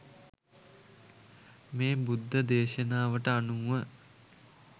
මේ බුද්ධ දේශනාවට අනුව